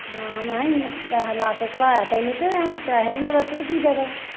ਹਾਂ ਮੈ ਇਹਨੂੰ ਪੈਹਾ ਲਾ ਕੇ ਘਲਾਇਆ ਤੈਨੂੰ ਤੇ ਹੁਣ ਪੈਹੇ ਵੀ ਨਾ ਲੱਥੇ ਤੇ ਕੀ ਫਾਇਦਾ